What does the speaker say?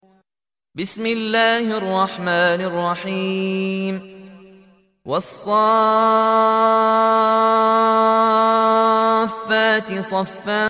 وَالصَّافَّاتِ صَفًّا